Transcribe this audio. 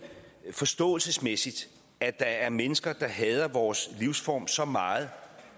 forståelsesmæssigt at der er mennesker der hader vores livsform så meget